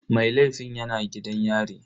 Mai laifin yana gidan yari.